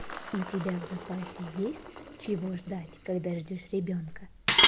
у тебя в запасе есть чего ждать когда ждешь ребенка